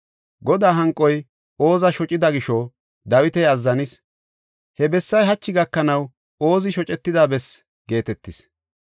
Godaa hanqoy Ooza shocida gisho Dawiti azzanis. He bessay hachi gakanaw Oozi shocetida bessaa geetetees.